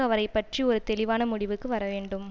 அவரை பற்றிய ஒரு தெளிவான முடிவுக்கு வரவேண்டும்